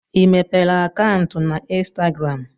I mepere akaụntụ na Instagram?